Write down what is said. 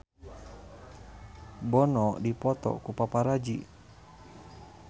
Bono dipoto ku paparazi